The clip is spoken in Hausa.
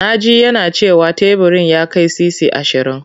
Na ji yana cewa teburin ya kai sisi ashirin.